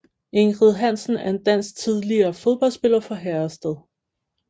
Ingrid Hansen er en dansk tidligere fodboldspiller fra Herrested